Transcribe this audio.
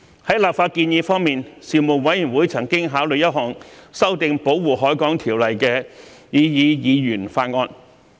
在立法建議方面，事務委員會曾考慮一項修訂《保護海港條例》的擬議議員法案。